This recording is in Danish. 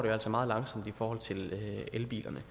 jo altså meget langsomt i forhold til elbilerne